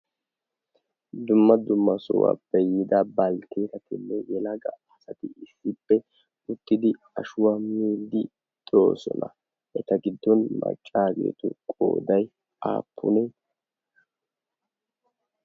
dumma dumma sohuwaa beyyida balkkeetatinne yelaga asati issippe uttidi ashuwam middi doosona. eta giddon maccaageetu qooday aappunee?